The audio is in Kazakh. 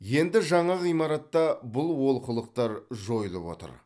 енді жаңа ғимаратта бұл олқылықтар жойылып отыр